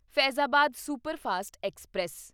Faizabad superfast express